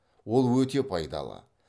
ол өте пайдалы